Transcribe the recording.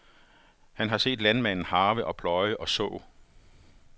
Han har set landmanden harve og pløje og så.